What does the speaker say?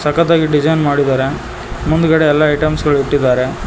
ಸಖತ್ ಆಗಿ ಡಿಸೈನ್ ಮಾಡಿದರೆ ಮುಂದ್ಗಡೆ ಎಲ್ಲಾ ಐಟಮ್ಸ ಗಳು ಇಟ್ಟಿದ್ದಾರೆ.